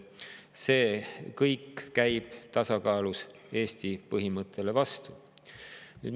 See kõik käib tasakaalus Eesti põhimõttele vastu.